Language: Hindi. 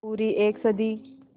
पूरी एक सदी